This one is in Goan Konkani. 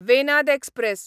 वेनाद एक्सप्रॅस